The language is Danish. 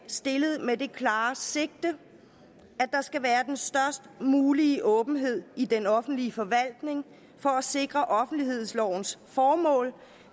stillet med det klare sigte at der skal være den størst mulige åbenhed i den offentlige forvaltning for at sikre offentlighedslovens formål